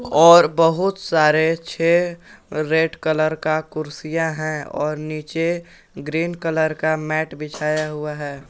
और बहुत सारे छह रेड कलर का कुर्सियां हैं और नीचे ग्रीन कलर का मैट बिछाया हुआ है।